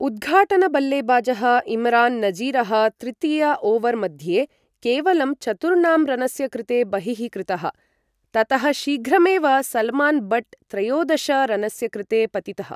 उद्घाटन बल्लेबाजः इमरान नजीरः तृतीय ओवर मध्ये केवलं चतुर्णां रनस्य कृते बहिः कृतः, ततः शीघ्रमेव सलमान बट् त्रयोदश रनस्य कृते पतितः ।